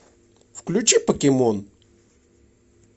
включи покемон